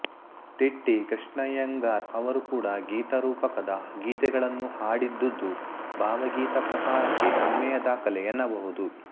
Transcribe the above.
ತಿಟ್ಟಿ ಕೃಷ್ಣಯ್ಯಂಗರ್ ಅವರೂ ಕೂಡ ಗೀತರೂಪಕದ ಗೀತೆಗಳನ್ನು ಹಾಡಿದ್ದುದು ಭಾವಗೀತಾ ಪ್ರಕಾರಕ್ಕೆ ಹೆಮ್ಮಯ ದಾಖಲೆ ಎನ್ನಬಹುದು